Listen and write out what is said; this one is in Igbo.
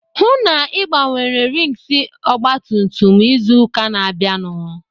Hụụ na Ị gbanwere rings ọgbatumtum izu ụka na-abịanụ!